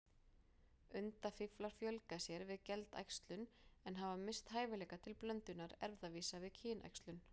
Undafíflar fjölga sér við geldæxlun, en hafa misst hæfileika til blöndunar erfðavísa við kynæxlun.